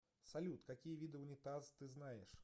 салют какие виды унитаз ты знаешь